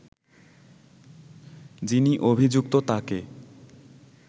যিনি অভিযুক্ত তাকে